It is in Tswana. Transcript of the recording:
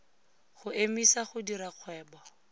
go emisa go dira kgwebo